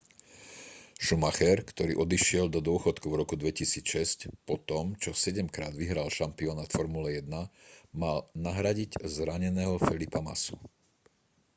schumacher ktorý odišiel do dôchodku v roku 2006 po tom čo sedemkrát vyhral šampionát formuly 1 mal nahradiť zraneného felipeho massu